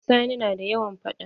Sani na da yawan faɗa.